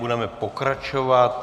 Budeme pokračovat.